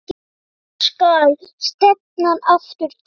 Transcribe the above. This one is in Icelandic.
Þangað skal stefnan aftur tekin.